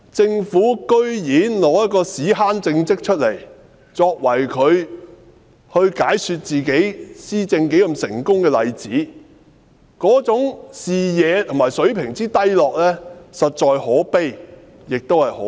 政府竟然以一個"屎坑"政績作為解說其施政有多成功的例子，這種視野和水平的低落，實在可悲，亦可笑。